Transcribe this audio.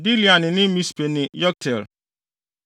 Dilean ne ne Mispe ne Yokteel,